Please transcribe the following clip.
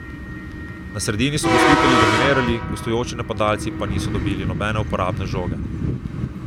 Na sredini so gostitelji dominirali, gostujoči napadalci pa niso dobili nobene uporabne žoge.